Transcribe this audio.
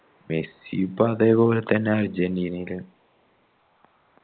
മെസ്സിയും ഇപ്പൊ അതേപോലെ തന്നെയാണ്